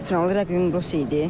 Finalda rəqibim Rusiya idi.